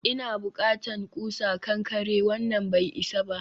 ina bukatan ƙusa kankare, wannan bai isa ba